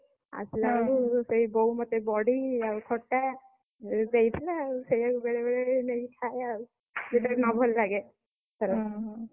ଆସିଲା ବେଳକୁ ସେ ବୋଉ ମୋତେ ବଢି, ଆଉ ଖଟା, ଦେଇଥିଲା ଆଉ ସେଇଆକୁ ବେଳେବେଳେ ନେଇକି ଖାଏ ଆଉ ସେ ଯଦି ନଭଲ ଲାଗେ।